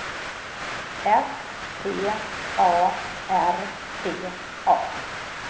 S T A R T A